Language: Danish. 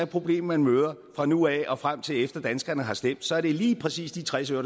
problem man møder fra nu af og frem til efter danskerne har stemt er det lige præcis de tres øre